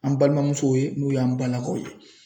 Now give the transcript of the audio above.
An balimamusow ye n'u y'an balakaw ye.